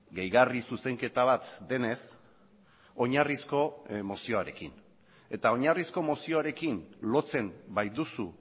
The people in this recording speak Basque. gehigarri zuzenketa bat denez oinarrizko mozioarekin eta oinarrizko mozioarekin lotzen baituzu